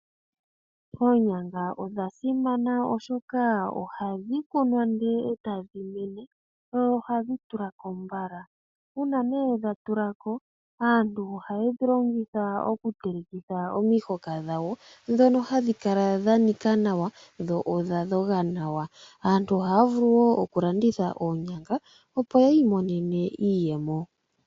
Oonyanga odha simana oshoka ohadhi kunwa ndee etadhi mene, mohadhi tulako mbala nuuna dhatulako aantu ohaye dhi telekitha iiyelelwa ndjoka ha yi kala yanika nawa yo oya dhonga nawa. Aantu ohaavulu woo okulanditha oonyanga opo yiimonene iiyemo.